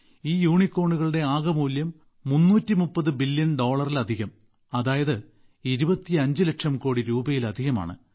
ഈ യൂണികോണുകളുടെ ആകെ മൂല്യം 330 ബില്യൺ ഡോളറിലധികം അതായത് 25 ലക്ഷം കോടി രൂപയിലധികമാണ്